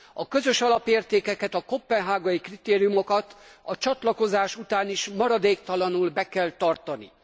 A közös alapértékeket, a koppenhágai kritériumokat a csatlakozás után is maradéktalanul be kell tartani.